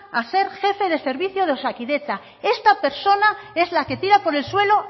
a ser jefe de servicio de osakidetza esta persona es la que tira por el suelo